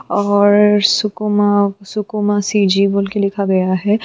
और सुकुमा सुकुमा सीजी